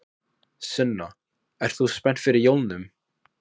Sunna: Ert þú spennt fyrir jólunum?